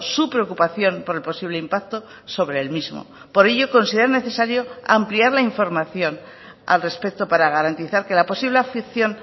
su preocupación por el posible impacto sobre el mismo por ello consideran necesario ampliar la información al respecto para garantizar que la posible afección